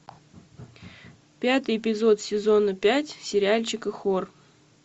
пятый эпизод сезона пять сериальчика хор